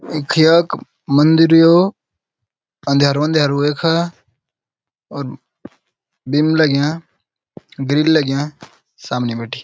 ईख यख मंदिर यो अन्द्यरू अन्द्यरू हु यख और बीम लग्यां ग्रिल लग्यां सामने बिटि।